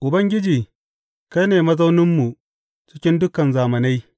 Ubangiji kai ne mazauninmu cikin dukan zamanai.